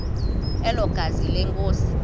elo gazi lenkosi